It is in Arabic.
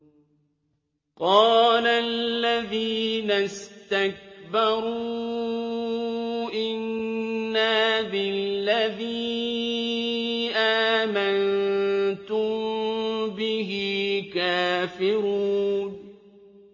قَالَ الَّذِينَ اسْتَكْبَرُوا إِنَّا بِالَّذِي آمَنتُم بِهِ كَافِرُونَ